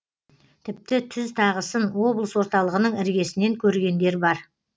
тіпті түз тағысын облыс орталығының іргесінен көргендер бар